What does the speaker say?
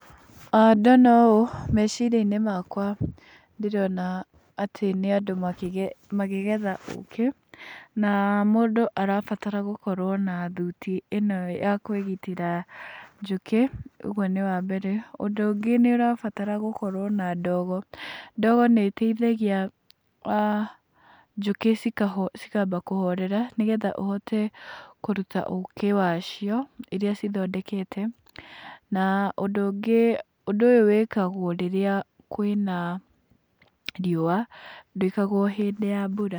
Ndona ũũ, meciria-inĩ makwa ndĩrona atĩ nĩ andũ makĩgetha ũkĩ. Na mũndũ arabatara gũkorwo na thuti ĩno ya kwĩgitĩra njũkĩ ũguo nĩ wa mbere. Ũndũ ũngĩ nĩ ũrabatara gũkorwo na ndogo. Ndogo nĩ ĩteithagia njũkĩ cikamba kuhorera, nĩgetha ũhote kũruta ũkĩ wacio ũrĩa cithondekete. Na ũndũ ũngĩ, ũndũ ũyũ wĩkagwo rĩrĩa kwĩna riũa, ndwĩkagwo hĩndĩ ya mbura.